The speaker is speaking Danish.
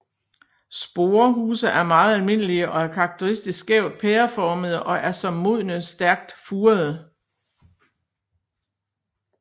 Sporehuse er meget almindelige og er karakteristisk skævt pæreformede og er som modne stærkt furede